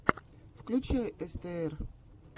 включай эстээр